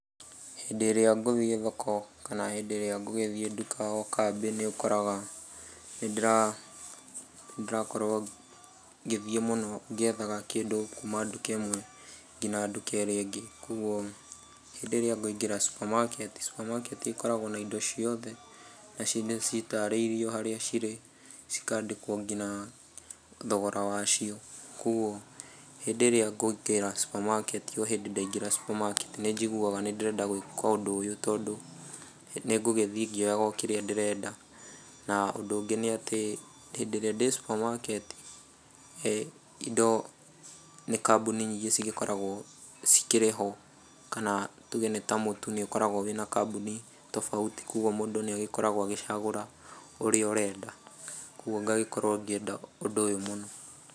Hĩndĩ ĩrĩa ngũthiĩ thoko, kana hĩndĩ ĩrĩa ngugĩthiĩ nduka o kambĩ nĩ ũkoraga nĩndĩrakorwo ngĩthiĩ mũno ngĩethaga kĩndũ kuma nduka ĩmwe nginya nduka ĩrĩa ĩngĩ. Koguo hĩndĩ ĩrĩa ngũingĩra supermarket, supermarket, ĩkoragwo na indo ciothe, na cindũ citarĩirio harĩa cirĩ, cikandĩkwo ngina thogora wacio, kũguo hĩndĩ ĩrĩa ngũingĩra supermarket, o hĩndĩ ndaingĩra supermarket, nĩnjiguaga nĩ ndĩrenda gwĩka ũndũ ũyũ tondũ nĩngũgĩthiĩ ngĩoyaga o kĩrĩa ndĩrenda. Na ũndũ ũngĩ nĩ atĩ hĩndĩrĩa ndĩ supermarket ,indo nĩ kambuni nyingĩ cigĩkoragwo cikĩrĩ ho, kana tuge nĩ ta mũtu nĩ ũkoragwo wĩna kambuni tobauti, kũguo mũndũ nĩagĩkoragwo agĩcagũra ũrĩa ũrenda, kũguo ngagĩkorwo ngĩenda ũndũ ũyũ mũno.